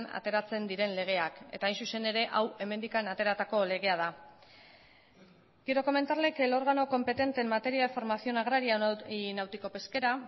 ateratzen diren legeak eta hain zuzen ere hau hemendik ateratako legea da quiero comentarle que el órgano competente en materia de formación agraria y náutico pesquera